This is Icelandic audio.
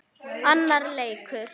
Annar leikur